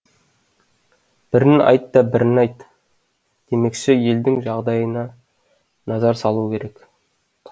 бірін айт та бірін айт демекші елдің жағдайына назар салу керек